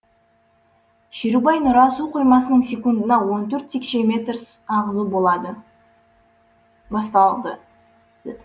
шерубай нұра су қоймасынан секундына он төрт текше метр ағызу басталды